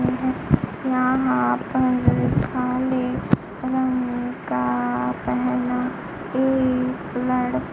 यहां पर काले रंग का पेहना एक लड़--